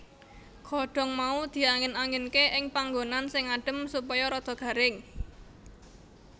Godhong mau diangin anginke ing panggonan sing adem supaya rada garing